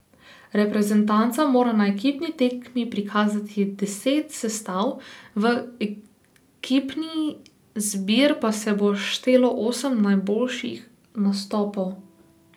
Reprezentanca mora na ekipni tekmi prikazati deset sestav, v ekipni zbir pa se bo štelo osem najboljših nastopov.